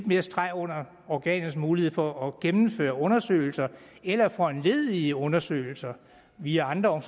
mere streg under organets mulighed for at gennemføre undersøgelser eller foranledige undersøgelser via andre